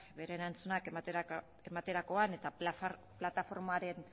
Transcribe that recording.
bere erantzunak ematerakoan eta plataformaren